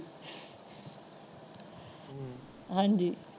ਹਾਜੀ।